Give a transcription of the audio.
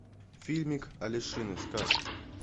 фильмик алешины сказки